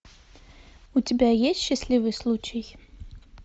у тебя есть счастливый случай